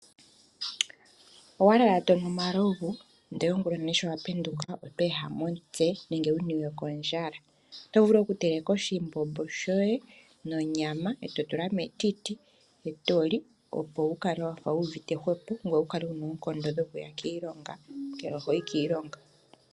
Owa lala to nu omalovu, ihe ongulonene shi wa penduka oto ehama omutse nege wu niwe kondjala. Oto vulu okuteleka oshimbombo shoye nonyama e to tula metiti e to li, opo wu kale wa fa wu uvite hwepo ngoye wu kale wu na oonkondo dhokuya kiilonga, ngele oho yi kiilonga.